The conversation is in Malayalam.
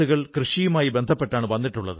കാലനുസൃതമായ പുതുമയും ഇവയ്ക്കു നൽകൂ